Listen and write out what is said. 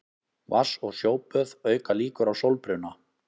Vatns- og sjóböð auka líkur á sólbruna.